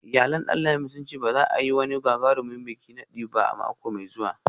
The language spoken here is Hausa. Iyalan Danlami sun ce ba za a yi wani gagarumin bikin nadi ba a mako mai zuwa